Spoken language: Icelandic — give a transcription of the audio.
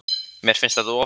Mér fannst þetta of stórt.